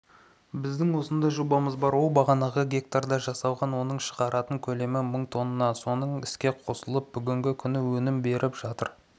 біздің осындай жобамыз бар ол бағанағы гектарда жасалған оның шығаратын көлемі мың тонна соның іске қосылып бүгінгі күні өнім беріп жатыр